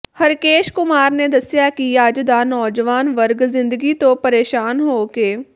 ਹਰਕੇਸ਼ ਕੁਮਾਰ ਨੇ ਦੱਸਿਆ ਕਿ ਅੱਜ ਦਾ ਨੌਜਵਾਨ ਵਰਗ ਜ਼ਿੰਦਗੀ ਤੋਂ ਪ੍ਰੇਸ਼ਾਨ ਹੋ ਕੇ